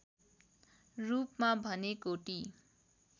रूपमा भने कोटी